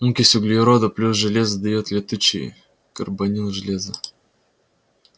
окись углерода плюс железо даёт летучий карбонил железа